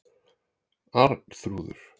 Arnþrúður